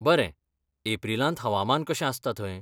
बरें. एप्रिलांत हवामान कशें आसता थंय?